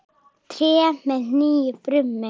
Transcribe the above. Tré með nýju brumi.